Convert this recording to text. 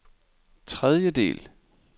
tredjedel